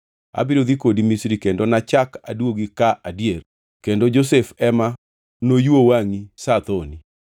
Abiro dhi kodi Misri kendo nachak aduogi ka adier kendo Josef ema noyuo wangʼi sa thoni.”